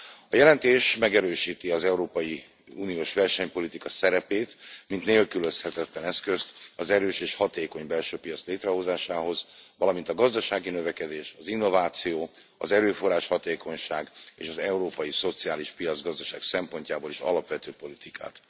A jelentés megerősíti az európai uniós versenypolitika szerepét mint nélkülözhetetlen eszközt az erős és hatékony belső piac létrehozásához, valamint a gazdasági növekedés, az innováció, az erőforrás hatékonyság és az európai szociális piacgazdaság szempontjából is alapvető politikát.